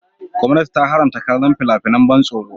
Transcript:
Gwamnati ta haramta kallon fina-finan ban tsoro.